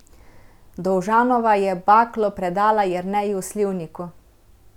Dovžanova je baklo predala Jerneju Slivniku.